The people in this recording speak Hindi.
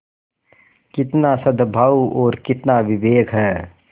कितना सदभाव और कितना विवेक है